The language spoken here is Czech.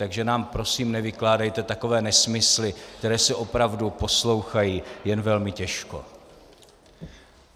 Takže nám prosím nevykládejte takové nesmysly, které se opravdu poslouchají jen velmi těžko.